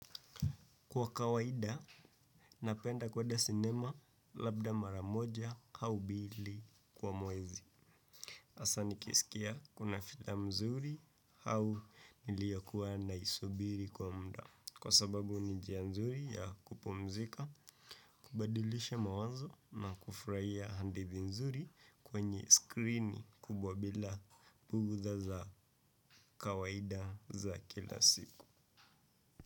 Kwa kawaida, napenda kueda sinema, labda maramoja, hau bili kwa mwezi. Asa nikisikia, kuna filamu zuri hau, niliyokuwa naisubiri kwa muda. Kwa sababu, ni njia nzuri ya kupumzika, kubadilisha mawazo, na kufurahia handithi nzuri kwenye skrini kubwa, bila bughdha za kawaida, za kila siku.